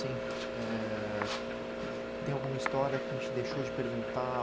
assim. É... Tem alguma história que a gente deixou de perguntar?